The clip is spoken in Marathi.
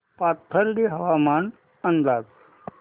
पाथर्डी हवामान अंदाज